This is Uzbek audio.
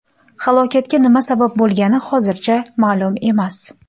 Halokatga nima sabab bo‘lgani hozircha ma’lum emas.